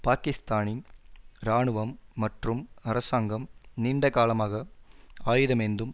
பாக்கிஸ்தானின் இராணுவம் மற்றும் அரசாங்கம் நீண்டகாலமாக ஆயுதமேந்தும்